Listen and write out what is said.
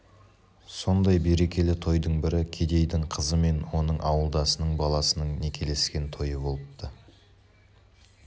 сондай берекелі тойдың бірі кедейдің қызы мен оның ауылдасының баласының некелескен тойы болыпты